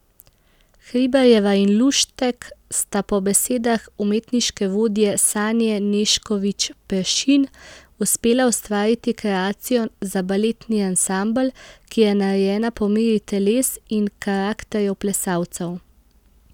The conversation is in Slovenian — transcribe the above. Hribarjeva in Luštek sta po besedah umetniške vodje Sanje Nešković Peršin uspela ustvariti kreacijo za baletni ansambel, ki je narejena po meri teles in karakterjev plesalcev.